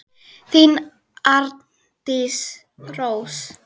Þín, Arndís Rós.